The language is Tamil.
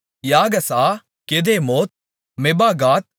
யாகசா கெதெமோத் மெபாகாத்